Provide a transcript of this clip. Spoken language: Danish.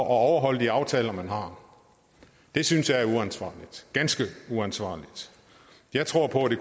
at overholde de aftaler man har det synes jeg er uansvarligt ganske uansvarligt jeg tror på det